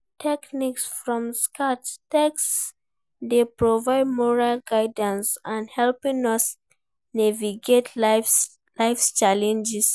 Teachings from sacred texts dey provide moral guidance and help us navigate life's challenges.